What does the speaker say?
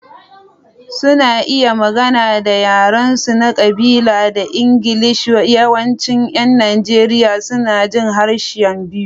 Suna iya magana da yarensu na ƙabila da Ingilishi, yawancin ƴan Najeriya suna jin harsuna biyu.